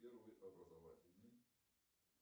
первый образовательный